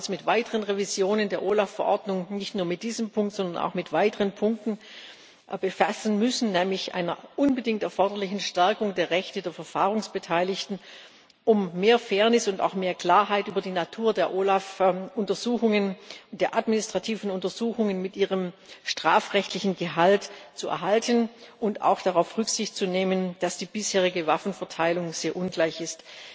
Wir werden uns mit weiteren Revisionen der OLAF Verordnung nicht nur in diesem Punkt, sondern auch in weiteren Punkten befassen müssen, nämlich einer unbedingt erforderlichen Stärkung der Rechte der Verfahrensbeteiligten, um mehr Fairness und auch mehr Klarheit über die Natur der OLAF Untersuchungen und der administrativen Untersuchungen mit ihrem strafrechtlichen Gehalt zu erhalten und auch darauf Rücksicht zu nehmen, dass die bisherige Waffenverteilung sehr ungleich ist.